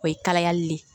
O ye kalayali le ye